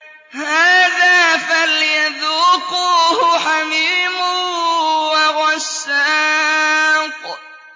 هَٰذَا فَلْيَذُوقُوهُ حَمِيمٌ وَغَسَّاقٌ